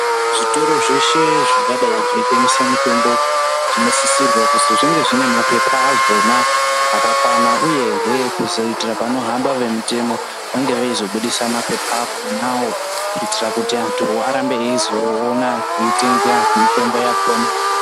Zvitoro zveshe zvingadai zveitengesa mitombo, zvinosisirwa kuzwi zvinge zvine maphepha azvona akakwana, uyehe kuzoitira panohamba vemitemo, vange veizobudisa maphepha akhonawo, kuitira kuti antu arambe eizoona ,eitenga mitombo yakhona.